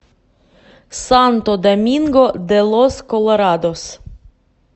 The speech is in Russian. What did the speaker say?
санто доминго де лос колорадос